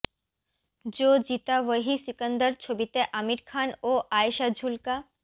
জো জিতা ওহি সিকন্দর ছবিতে আমির খান ও আয়েষা ঝুলকা